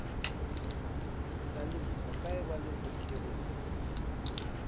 салют какая валюта в перу